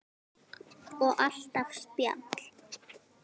Og alltaf spjall.